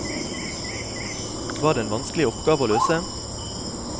Var det en vanskelig oppgave å løse?